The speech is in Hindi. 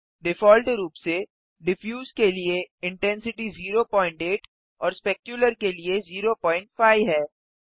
डिफ़ॉल्ट रूप से डिफ्यूज के लिए इंटेंसिटी 08 और स्पेक्युलर के लिए 05 है